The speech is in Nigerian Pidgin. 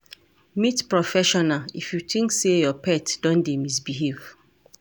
Meet professional if you think sey your pet don dey misbehave